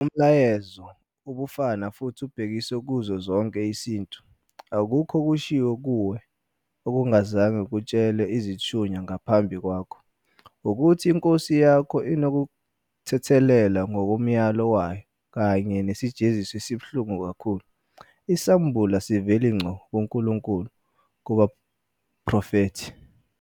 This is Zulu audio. Umlayezo ubufana futhi ubhekiswe kuso sonke isintu."Akukho okushiwo kuwe okungazange kutshelwe izithunywa ngaphambi kwakho, ukuthi inkosi yakho inokuthethelelwa ngokomyalo wayo kanye nesijeziso esibuhlungu kakhulu."Isambulo asiveli ngqo kuNkulunkulu kubaprofethi.